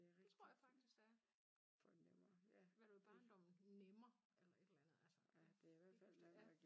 Det tror jeg faktisk der er. Hvad du i barndommen nemmer eller et eller andet altså jeg kan ikke huske det ja